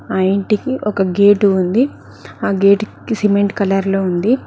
ఆ ఇంటికి ఒక గేటు ఉంది ఆ గేట్ కి సిమెంట్ కలర్ లో ఉంది.